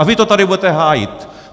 A vy to tady budete hájit.